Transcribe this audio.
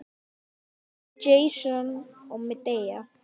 Jason og Medea.